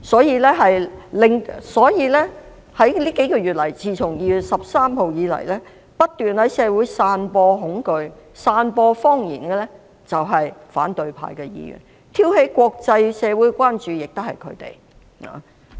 因此，自2月13日起這數個月以來，不斷在社會散播恐懼和謊言的是反對派議員，挑起國際社會關注也是他們。